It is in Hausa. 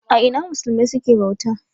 A ina musulmai suke bauta?